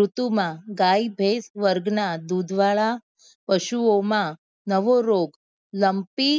ઋતુ માં ગાય ભેષ વર્ગ ના દૂધ વાળા પશુઓ માં નવો રોગ લ્મ્પી